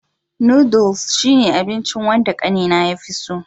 Noodles shine abinchi wanda ƙanena ya fi so.